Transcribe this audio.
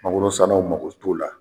Mangoro sannaw mako t'o la.